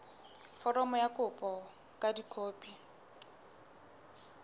foromo ya kopo ka dikopi